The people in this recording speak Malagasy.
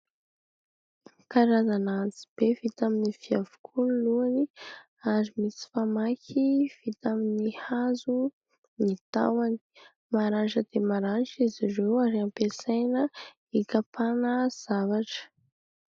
Karazana antsibe vita amin'ny vy avokoa ny lohany ary misy famaky vita amin'ny hazo ny tahony maranitra dia maranitra izy ireo ary ampiasaina hikapana zavatra.